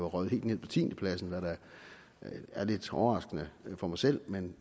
røget helt nede på tiendepladsen hvad der er lidt overraskende for mig selv men